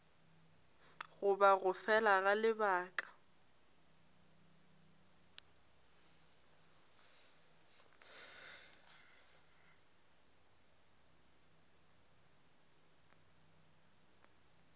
goba go fela ga lebaka